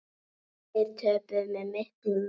Þeir töpuðu með miklum mun.